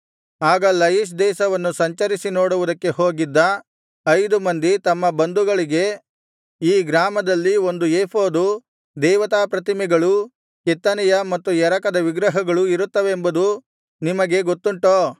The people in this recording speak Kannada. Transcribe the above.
ಆಗ ಲಯಿಷ್ ದೇಶವನ್ನು ಸಂಚರಿಸಿ ನೋಡುವುದಕ್ಕೆ ಹೋಗಿದ್ದ ಐದು ಮಂದಿ ತಮ್ಮ ಬಂಧುಗಳಿಗೆ ಈ ಗ್ರಾಮದಲ್ಲಿ ಒಂದು ಏಫೋದೂ ದೇವತಾಪ್ರತಿಮೆಗಳೂ ಕೆತ್ತನೆಯ ಮತ್ತು ಎರಕದ ವಿಗ್ರಹಗಳೂ ಇರುತ್ತವೆಂಬುದು ನಿಮಗೆ ಗೊತ್ತುಂಟೋ